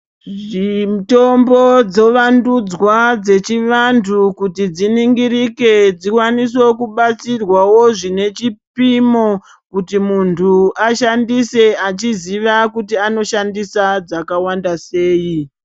Mitombo dzovandudzwa dzechivantu kuti dziningirike dzikwanise kubatsirwawo zvine chipimo kuti muntu ashandise achiziva anoshandisa kuti dzakawanda sei.